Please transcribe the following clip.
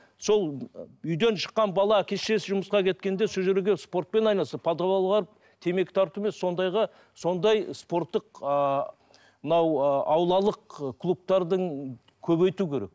сол үйден шыққан бала әке шешесі жұмысқа кеткенде сол жерге спортпен айналысып подвалға барып темек тарту емес сондайға сондай спорттық ыыы мынау ыыы аулалық клубтардың көбейту керек